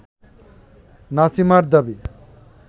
নামিসার দাবি